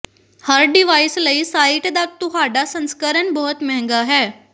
ਹਰ device ਲਈ site ਦਾ ਤੁਹਾਡਾ ਸੰਸਕਰਣ ਬਹੁਤ ਮਹਿੰਗਾ ਹੈ